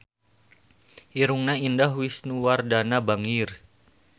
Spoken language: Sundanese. Irungna Indah Wisnuwardana bangir